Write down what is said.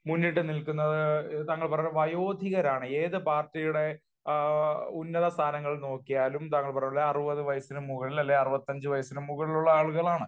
മുന്നിട്ടു നില്ക്കുന്നത് താങ്കൾ പറഞ്ഞ വയോധികരാണ്. ഏത് പാർട്ടിയുടെ ഉന്നത സ്ഥാനങ്ങൾ നോക്കിയാലും താങ്കൾ പറഞ്ഞ പോലെ അറുപത് വയസ്സിന് മുകളിൽ അല്ലെങ്കിൽ അറുപത്തഞ്ച് വയസ്സിനു മുകളിലുള്ള ആളുകളാണ്